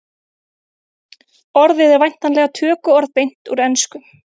orðið er væntanlega tökuorð beint úr ensku